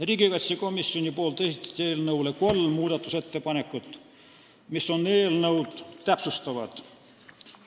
Riigikaitsekomisjon esitas eelnõu kohta kolm täpsustavat muudatusettepanekut.